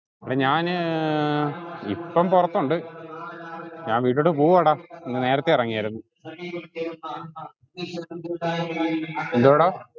എടാ ഞാന്ന് ഏർ ഇപ്പം പൊറത്തുണ്ട് ഞാൻ വീട്ടിലോട്ട് പോവുവാട. ഇന്ന് നേരത്തെ എറങ്ങിയാർന്നു എന്തുവാടാ